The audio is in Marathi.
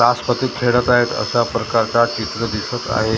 ताशपत्ती खेळत आहेत अशा प्रकारचा चित्र दिसत आहे .